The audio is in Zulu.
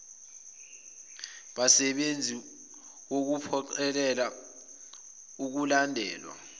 basebenzi wukuphoqelela ukulandelwa